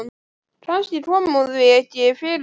Kannski kom hún því ekki fyrir sig strax.